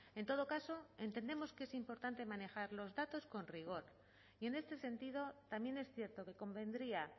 en todo caso entendemos que es importante manejar los datos con rigor y en este sentido también es cierto que convendría